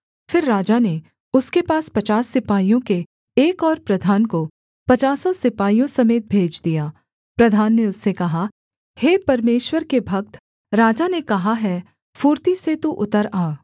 फिर राजा ने उसके पास पचास सिपाहियों के एक और प्रधान को पचासों सिपाहियों समेत भेज दिया प्रधान ने उससे कहा हे परमेश्वर के भक्त राजा ने कहा है फुर्ती से तू उतर आ